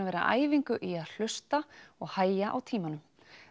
vera æfingu í að hlusta og hægja á tímanum